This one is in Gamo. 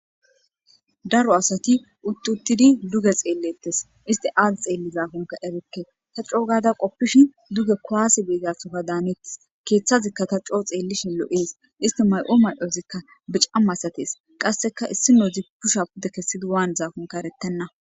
daro asati uttuttidi duge xeellettes isti aad xeelli zaafunka ebekke ta coogada qoppishi duge koaasi biizatsofa daanettes keeththazikka ta coo xeellishin lo7ees isti may7o ma7ozikka bicama asatees qasseka issino zipusha pudde kessidi waan zaafunka erettenna